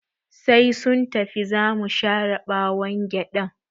Sai sun tafi zamu share ɓawon gyaɗan